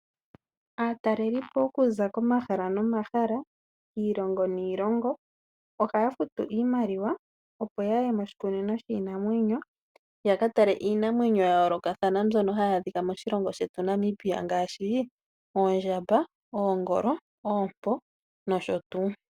Aatalelipo okuza komahala nomahala, iilongo niilongo ohaya futu iimaliwa opo yaye moshikunino shiinamwenyo yaka tale iinamwenyo ya yoolokathana, mbyono hayi adhika moshilongo shetu Namibia ngaashi, oondjamba, oongolo, oompo nosho tuu.